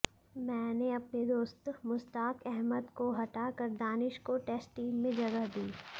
मैंने अपने दोस्त मुश्ताक अहमद को हटाकर दानिश को टेस्ट टीम में जगह दी